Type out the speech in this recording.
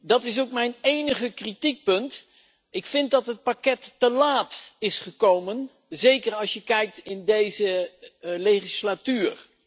Dat is ook mijn enige kritiekpunt ik vind dat het pakket te laat is gekomen, zeker als je kijkt in deze legislatuur.